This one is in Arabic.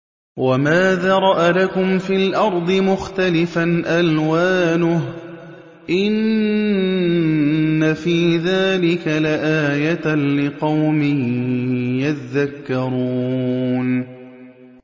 وَمَا ذَرَأَ لَكُمْ فِي الْأَرْضِ مُخْتَلِفًا أَلْوَانُهُ ۗ إِنَّ فِي ذَٰلِكَ لَآيَةً لِّقَوْمٍ يَذَّكَّرُونَ